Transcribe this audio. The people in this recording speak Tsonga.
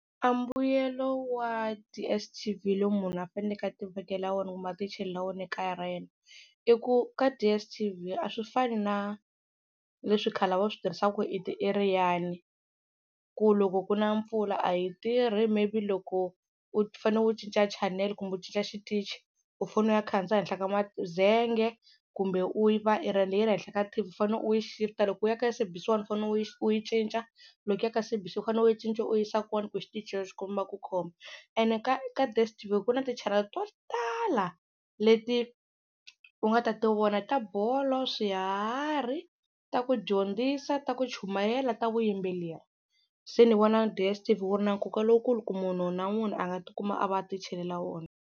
A mbuyelo wa DSTV lowu munhu a faneleke a ti vekela wona kumbe a ti chelela wona ekaya ra yena i ku ka DSTV a swi fani na leswi khale a va swi tirhisaka ku i ti-aerial-i ku loko ku na mpfula a yi tirhi maybe loko u fanele u cinca channel kumbe u cinca xitichi u fanele u ya khandziya henhla ka mazenge kumbe aerial yi ri henhla ka T_V u fane u yi shift-a loko u ya ka SABC 1 u fane u yi u yi cinca, loko ya ka SABC u fanele u yi cinca u yi yisa kun'wana ku xitichi xexo xi komba ku khoma ene ka ka DSTV ku na ti-channel to tala leti u nga ta tivona, ta bolo, swiharhi, ta ku dyondzisa, ta ku chumayela, ta vuyimbeleri se ni vona DSTV wu ri na nkoka lowukulu ku munhu na munhu a nga tikuma a va a ti chelela wona.